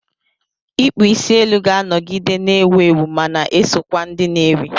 Ịkpụ isi elu ga-anọgide na-ewu ewu, ma na-eso kwa ndị na-ewi.